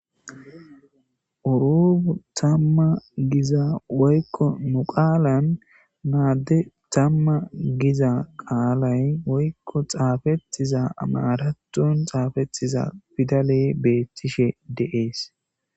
Oropu tamma giza woykko nu qaalan naadde tamma giza qaalay woykko xaafettiza maratton xaafetiza fidale beethtishe deees